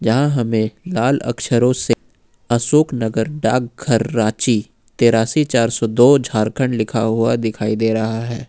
यहां हमें लाल अक्षरों से अशोकनगर डाकघर रांची तिरासी चार सौ दो झारखंड लिखा हुआ दिखाई दे रहा है।